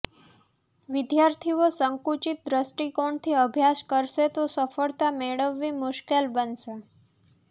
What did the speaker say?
વિદ્યાર્થીઓ સંકુચિત દ્રષ્ટિકોણથી અભ્યાસ કરશે તો સફળતા મેળવવી મુશ્કેલ બનશે